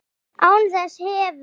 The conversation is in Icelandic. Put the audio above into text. Án þess hefur